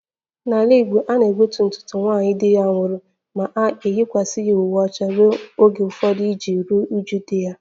N'ala Igbo a na-egbutu ntutu nwaanyị di ya nwụrụ ma ọ na-eyikwasị uwe ọcha ruo oge ụfọdụ iji ruo uju di ya